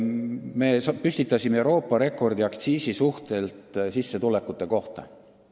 Me püstitasime Euroopa rekordi aktsiisi ja sissetulekute suhte osas.